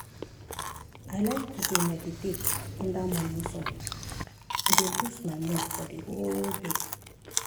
i like to dey meditate under morning sun e dey boost my mood for the whole day.